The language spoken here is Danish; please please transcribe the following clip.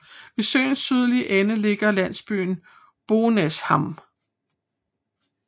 Ved søens sydlige ende ligger landsbyen Bonäshamn